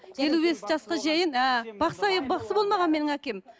елу бес жасқа шейін ыыы бақсы болмаған менің әкем